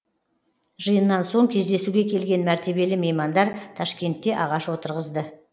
жиыннан соң кездесуге келген мәртебелі меймандар ташкентте ағаш отырғызды